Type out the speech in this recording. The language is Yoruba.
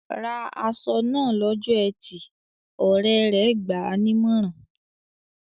"Ra aṣọ náà lọ́jọ́ ẹtì!" Ọ̀rẹ́ rẹ̀ gbà á nímọ̀ràn.